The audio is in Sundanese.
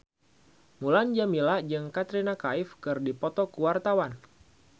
Mulan Jameela jeung Katrina Kaif keur dipoto ku wartawan